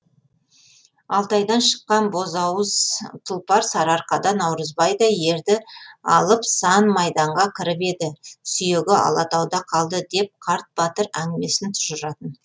алтайдан шыққан бозауыз тұлпар сарыарқада наурызбайдай ерді алып сан майданға кіріп еді сүйегі алатауда қалды деп қарт батыр әңгімесін тұжыратын